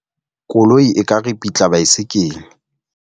Koloi e ka ripitla baesekele.